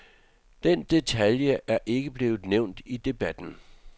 Den detalje er ikke blevet nævnt i debatten.